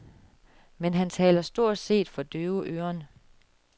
Men han taler stort set for døve øren.